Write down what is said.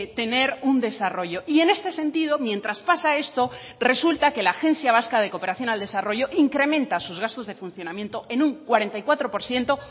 tener un desarrollo y en este sentido mientras pasa esto resulta que la agencia vasca de cooperación al desarrollo incrementa sus gastos de funcionamiento en un cuarenta y cuatro por ciento